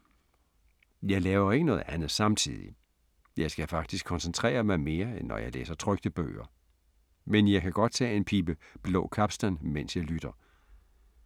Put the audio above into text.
Jeg laver ikke noget andet samtidig. Jeg skal faktisk koncentrere mig mere, end når jeg læser trykte bøger. Men jeg kan godt tage en pibe Blå Capstan, mens jeg lytter.